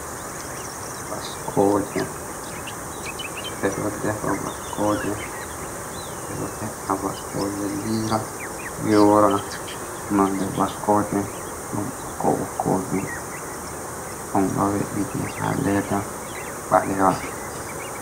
Baskooje. Ɓe ɗo defa baskooje, ɓe ɗo he’a baskooje lira, yora. Nonde baskooje ɗum ɓokko- ɓokkojum on ɗo we'iti ɗum haa leeda ɓalewa.